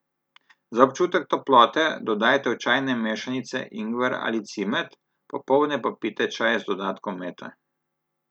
Za občutek toplote dodajte v čajne mešanice ingver ali cimet, popoldne pa pijte čaj z dodatkom mete.